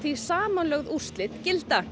samanlögð úrslit gilda